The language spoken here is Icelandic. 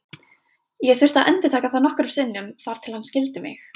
Ég þurfti að endurtaka það nokkrum sinnum þar til hann skildi mig.